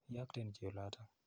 Iyokten chi olotok.